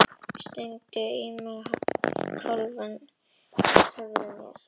Stingdu mig í kálfann og fylltu skóinn af blóði og settu á höfuð mér.